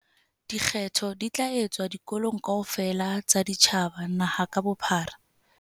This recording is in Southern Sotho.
Dikgetho di tla etswa dikolong kaofela tsa setjhaba naha ka bophara.